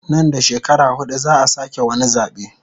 Nan da shekara hudu zaa sake wani zabe